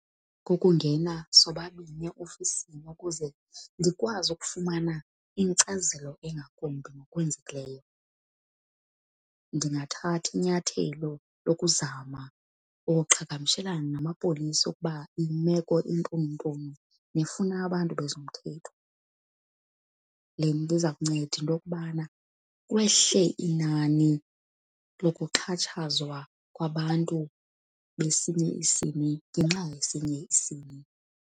Kukungena sobabini eofisini ukuze ndikwazi ukufumana inkcazelo engakumbi ngokwenzekileyo. Ndingathatha inyathelo lokuzama ukuqhagamshelana namapolisa ukuba imeko intununtunu nefuna abantu bezomthetho. Le nto iza kunceda into yokubana kwehle inani lokuxhatshazwa kwabantu besinye isini ngenxa yesinye isini.